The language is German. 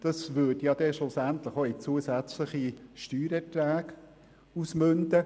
Das würde schlussendlich in zusätzlichen Steuererträgen münden.